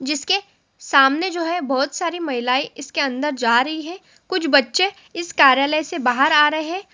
जिसके सामने जो है बहुत सारी महिलाएं इसके अंदर जा रही है कुछ बच्चे इस कार्यालय से बाहर आ रहे हैं।